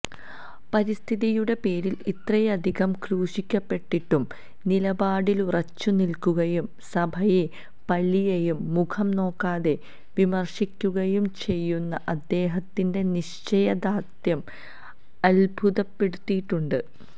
പരിസ്ഥിതിയുടെ പേരിൽ ഇത്രയധികംക്രൂശിക്കപ്പെട്ടിട്ടും നിലപാടിലുറച്ചുനിൽക്കുകയും സഭയെയും പള്ളിയെയും മുഖം നോക്കാതെ വിമർശിക്കുകയും ചെയ്യുന്ന അദ്ദേഹത്തിന്റെ നിശ്ചയ ദാർഢ്യം അൽഭുതപ്പെടുത്തിയിട്ടുണ്ട്